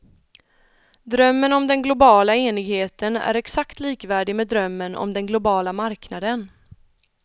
Drömmen om den globala enigheten är exakt likvärdig med drömmen om den globala marknaden.